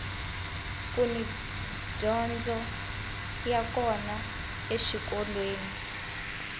kuni dyondzo ya kona eswikolweni